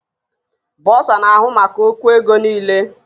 Bọsa na-ahụ maka okwu ego niile